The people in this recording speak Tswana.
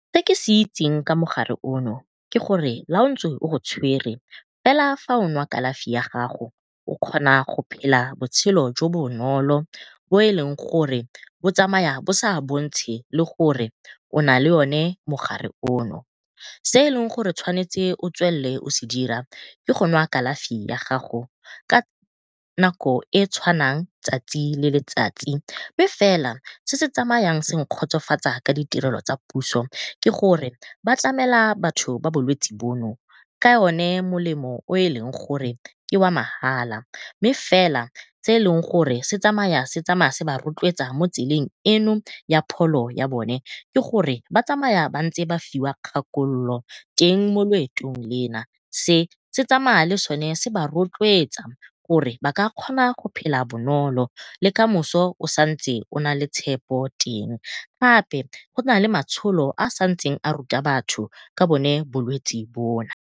Se ke se itseng ka mogare ono ke gore la ntse o go tshwere fela fa o nwa kalafi ya gago o kgona go phela botshelo jo bo bonolo bo e leng gore bo tsamaya bo sa bontshe le gore o na le one mogare ono. Se e leng gore o tshwanetse o tswelele o se dira ke go nwa kalafi ya gago ka nako e e tshwanang tsatsi le letsatsi. Mme fela se se tsamayang se nkgotsofatsa ka ditirelo tsa puso ke gore ba tlamela batho ba bolwetsi bono ka one molemo o o e leng gore ke wa mahala. Mme fela se e leng gore se tsamayang se tsamaya se ba rotloetsa mo tseleng eno ya pholo ya bone ke gore ba tsamaya ba ntse ba fiwa kgakololo teng mo loetong lena se tsamaya le sona se ba rotloetsa gore ba ka gona go phela bonolo le kamoso o santse o nale tshepo teng. Gape go nale matsholo a santse a ruta batho ka bone bolwetsi bona.